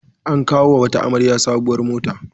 An kawo wata amarya a sabuwar mota.